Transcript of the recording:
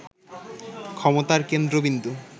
ক্ষমতার কেন্দ্রবিন্দু